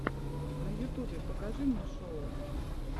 на ютубе покажи мне шоу